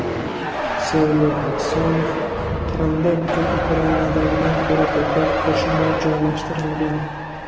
Sergey Aksyonov: Qrimda butun Ukrainadagidan ko‘ra ko‘proq qo‘shinlar joylashtirilgan.